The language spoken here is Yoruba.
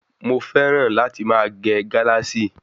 Mo fẹ́ràn láti máa gẹ Galasi